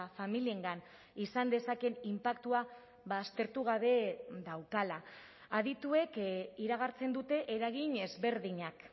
familiengan izan dezakeen inpaktua aztertu gabe daukala adituek iragartzen dute eragin ezberdinak